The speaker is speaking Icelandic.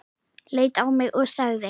Leit á mig og sagði